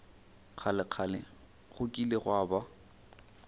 kgalekgale go kile gwa ba